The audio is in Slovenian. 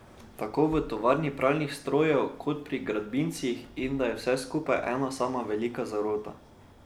Tako v tovarni pralnih strojev kot pri gradbincih, in da je vse skupaj ena sama velika zarota.